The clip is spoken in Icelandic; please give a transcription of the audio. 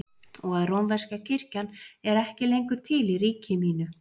Og að rómverska kirkjan er ekki lengur til í ríki mínu?